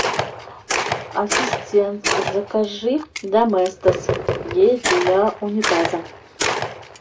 ассистент закажи доместос гель для унитаза